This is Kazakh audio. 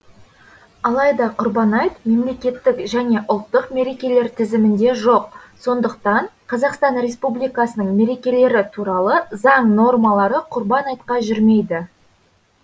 алайда құрбан айт мемлекеттік және ұлттық мерекелер тізімінде жоқ сондықтан қазақстан республикасының мерекелері туралы заң нормалары құрбан айтқа жүрмейді